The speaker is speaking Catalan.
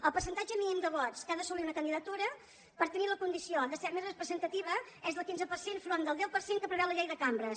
el percentatge mínim de vots que ha d’asso·lir una candidatura per tenir la condició de ser més re·presentativa és del quinze per cent enfront del deu per cent que preveu la llei de cambres